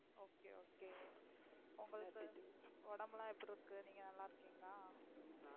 Okay Okay உங்களுக்கு உடம்பு எல்லாம் எப்படிருக்கு நீங்க நல்லா இருக்கீங்களா?